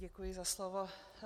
Děkuji za slovo.